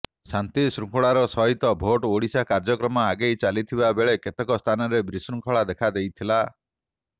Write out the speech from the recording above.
ଶାନ୍ତି ଶୃଙ୍ଖଳାର ସହିତ ଭୋଟ୍ ଓଡ଼ିଶା କାର୍ଯ୍ୟକ୍ରମ ଆଗେଇ ଚାଲିଥିବା ବେଳେ କେତେକ ସ୍ଥାନରେ ବିଶୃଙ୍ଖଳା ଦେଖାଦେଇଥିଲା